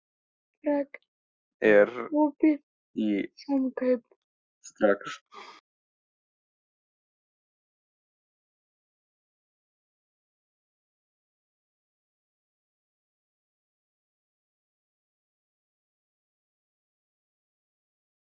Steinberg, hvað er lengi opið í Valdís?